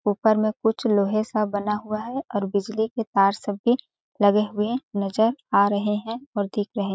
ऊपर में कुछ लोहे सा बना हुआ है और बिजली के तार सब भी लगे हुए नजर आ रहे हैं और दिख रहे हैं।